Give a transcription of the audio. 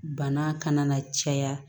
Bana kana na caya